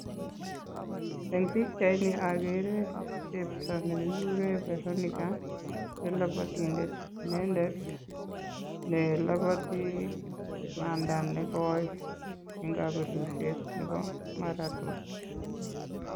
En pichaini okere chepto nekikuren veronica ne lopotindet inendet nelopotii panda nekoi en kobelishet nebo maraton.